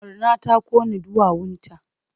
Murna ta kone ɗuwawunta.